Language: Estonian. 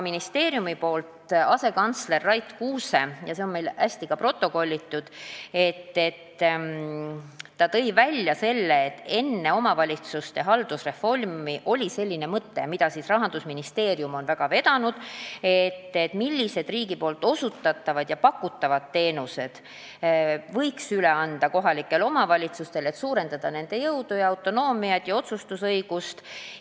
Ministeeriumi asekantsler Rait Kuuse rääkis – ja see on meil ka hästi protokollitud –, et enne omavalitsuste haldusreformi oli mõte, mida Rahandusministeerium on vedanud, selle kohta, millised riigi osutatavad ja pakutavad teenused võiks üle anda kohalikele omavalitsustele, et suurendada nende jõudu, autonoomiat ja otsustusõigust.